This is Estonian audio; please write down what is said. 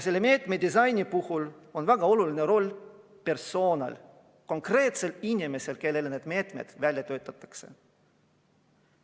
Meetmete disaini puhul on väga oluline roll persoonil, konkreetsel inimesel, kellele meetmed välja töötatakse.